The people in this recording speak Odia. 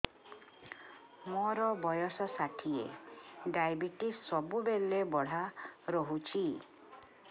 ମୋର ବର୍ଷ ଷାଠିଏ ଡାଏବେଟିସ ସବୁବେଳ ବଢ଼ା ରହୁଛି